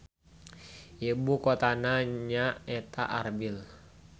Ibu kotana nya eta Arbil.